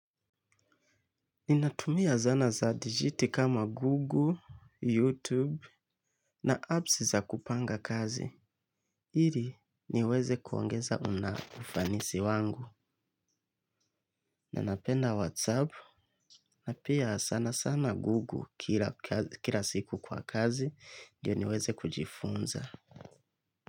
Ninatumia zana za digit kama google, youtube na apps za kupanga kazi. Hili niweze kuongeza una ufanisi wangu. Nanapenda whatsapp. Na pia sana sana google kila siku kwa kazi. Ndiyo niweze kujifunza.